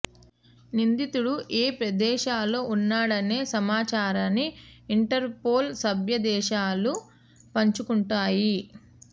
నిందితుడు ఏ ప్రదేశంలో ఉన్నాడనే సమాచారాన్ని ఇంటర్ పోల్ సభ్య దేశాలు పంచుకుంటాయి